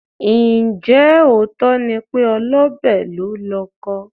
Ǹjẹ́ òótọ́ ni pé olọ́bẹ̀ lólọkọ?